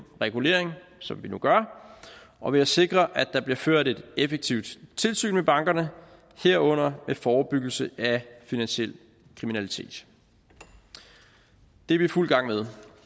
regulering som vi nu gør og ved at sikre at der bliver ført et effektivt tilsyn med bankerne herunder forebyggelse af finansiel kriminalitet det er vi i fuld gang med